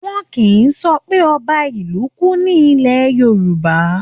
Wọ́n kìí sọ pé ọba ìlú kú ní ilẹ̀ Yorùbá